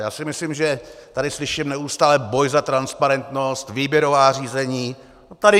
Já si myslím, že tady slyším neustále boj za transparentnost, výběrová řízení.